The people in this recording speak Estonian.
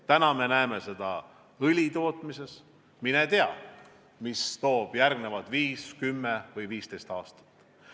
Täna me näeme seda õlitootmises, mine tea, mis toovad järgnevad viis, kümme või viisteist aastat.